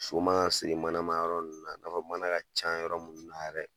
So ma ŋa siri manama yɔrɔ nn na, ka fɔ mana ka ca yɔrɔ mun na yɛrɛ